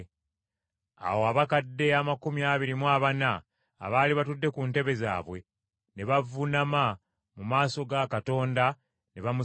Awo abakadde amakumi abiri mu abana abaali batudde ku ntebe zaabwe ne bavuunama mu maaso ga Katonda ne bamusinza